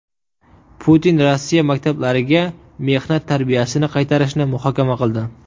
Putin Rossiya maktablariga mehnat tarbiyasini qaytarishni muhokama qildi.